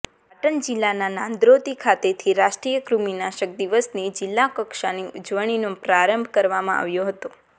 પાટણ જિલ્લાના નાંદોત્રી ખાતેથી રાષ્ટ્રીય કૃમિનાશક દિવસની જિલ્લા કક્ષાની ઉજવણીનો પ્રારંભ કરાવવામાં આવ્યો હતો